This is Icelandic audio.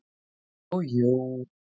Ó jú.